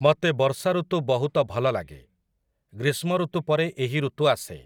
ମତେ ବର୍ଷାଋତୁ ବହୁତ ଭଲଲାଗେ । ଗ୍ରୀଷ୍ମଋତୁ ପରେ ଏହି ଋତୁ ଆସେ ।